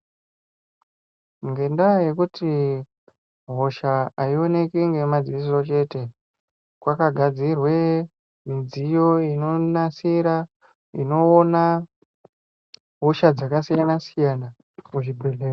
Ngendaa yekuti hosha aionekwi ngemadziso chete, kwakagadzirwe midziyo inonasira inoona hosha dzakasiyana -siyana muzvibhehlera.